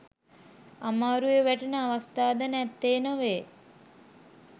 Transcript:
අමාරුවේ වැටෙන අවස්ථා ද නැත්තේ නොවේ.